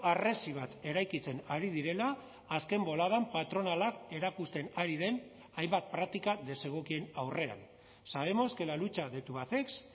harresi bat eraikitzen ari direla azken boladan patronalak erakusten ari den hainbat praktika desegokien aurrean sabemos que la lucha de tubacex